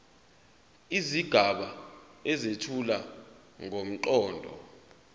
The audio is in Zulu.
izigaba ezethula ngomqondo